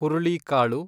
ಹುರುಳಿಕಾಳು